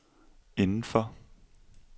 indenfor